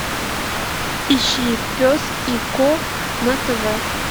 ищи пес и ко на тв